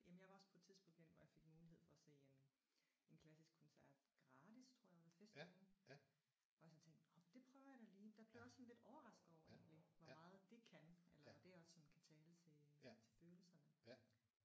Jamen jeg var også på et tidspunkt henne hvor jeg fik mulighed for at se en en klassisk koncert gratis tror jeg ved festugen hvor jeg så tænkte nåh det prøver jeg da lige. Der blev jeg også sådan lidt overrasket over egentlig hvor meget det kan eller hvordan det også kan tale til til følelserne